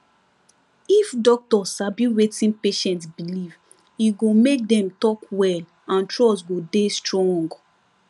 if doctor sabi wetin patient believe e go make dem talk well and trust go dey strong